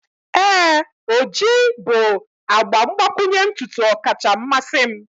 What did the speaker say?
ee, ojii bụ agba mgbakwunye ntutu ọkacha mmasị m.